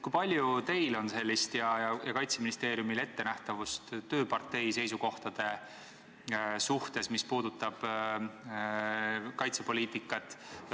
Kui palju on teil ja Kaitseministeeriumil ettenähtavust tööpartei seisukohtade suhtes, mis puudutavad kaitsepoliitikat?